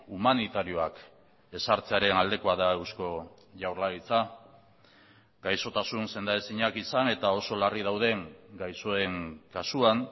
humanitarioak ezartzearen aldekoa da eusko jaurlaritza gaixotasun sendaezinak izan eta oso larri dauden gaixoen kasuan